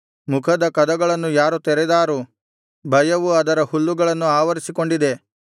ಮುಖದ ಕದಗಳನ್ನು ಯಾರು ತೆರೆದಾರು ಭಯವು ಅದರ ಹಲ್ಲುಗಳನ್ನು ಆವರಿಸಿಕೊಂಡಿದೆ